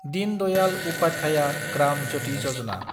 दिन दयाल उपाध्याया ग्राम ज्यति यजना